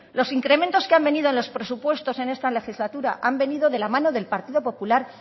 los incrementos que han venido en los presupuestos en esta legislatura han venido de la mano del partido popular